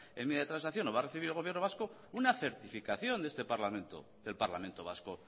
enmienda de transacción o va a recibir el gobierno vasco una certificación de este parlamento del parlamento vasco